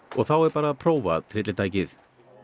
og þá er að prófa tryllitækið